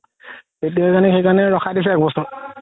এতিয়া কাৰণে ৰখাই দিছো এক বছৰ